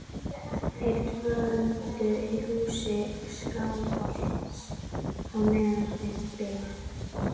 Þeir dvöldu í húsi Skálholts á meðan þeir biðu.